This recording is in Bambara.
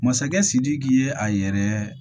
Masakɛ sidiki ye a yɛrɛ